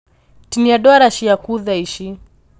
Tinia ndwara ciaku thaici